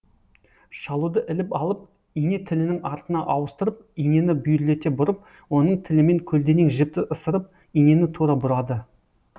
шалуды іліп алып ине тілінің артына ауыстырып инені бүйірлете бұрып оның тілімен көлденең жіпті ысырып инені тура бұрады